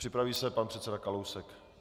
Připraví se pan předseda Kalousek.